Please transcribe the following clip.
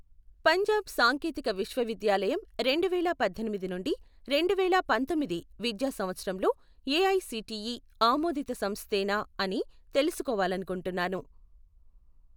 పంజాబ్ సాంకేతిక విశ్వవిద్యాలయం రెండు వేల పద్దెనిమిది నుండి రెండు వేల పంతొమ్మిది విద్యా సంవత్సరంలో ఏఐసిటిఈ ఆమోదిత సంస్థేనా అని తెలుసుకోవాలనుకుంటున్నాను